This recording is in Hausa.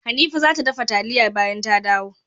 Hanifa zata dafa taliyan bayan ta dawo.